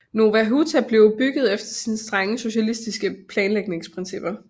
Nowa Huta blev bygget efter strenge socialistiske planlægningsprincipper